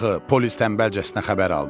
Polis tənbəlcəsinə xəbər aldı.